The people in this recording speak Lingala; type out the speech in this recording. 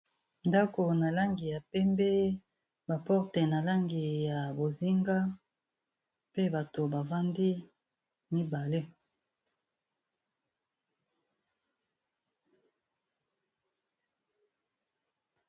Ndako na langi ya pembe ba porte na langi ya bozinga mpe bato bafandi mibale.